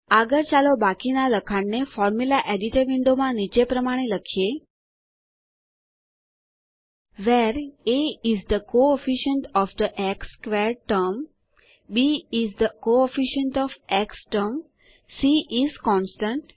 આગળ ચાલો બાકીના લખાણને ફોર્મુલા એડિટર વિન્ડોમાં નીચે પ્રમાણે લખીએ160 where a is the coefficient of the x squared term b is the coefficient of the x term c is the constant